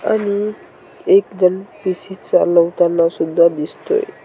आणि एक जण पी_सी चालवताना सुद्धा दिसतोय.